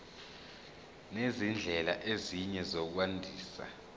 nezindlela ezinye zokwandisa